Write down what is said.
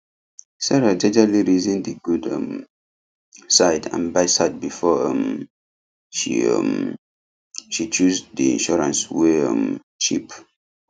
sarah jejely reason the good um side and badside before um she um she choose the insurance wey um cheap